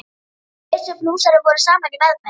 Við Bjössi blúsari vorum saman í meðferð.